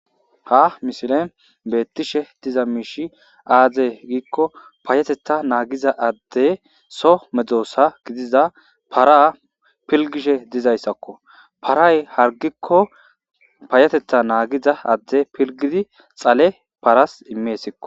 Ha mishilen beettishe diza miishi aaze giikko paayetetta naagiza adde so medoosa gidiza para pilgishe dizayssakko. Paray hargikko paayatetta naagiza adde pilgidi dhale paras imeesikko.